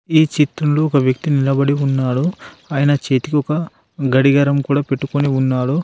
ఈ చిత్రంలో ఒక వ్యక్తి నిలబడి ఉన్నాడు ఆయన చేతికి ఒక గడిగరం కూడా పెట్టుకుని ఉన్నాడు.